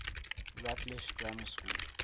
rutlish grammar school